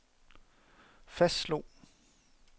fastslog